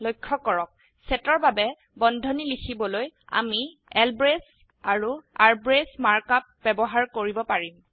লক্ষ্য কৰক সেটৰ বাবে বন্ধনী লিখিবলৈ আমি ল্ব্ৰেচ আৰু ৰ্ব্ৰেচ মাৰ্ক আপ ব্যবহাৰ কৰিব পাৰিম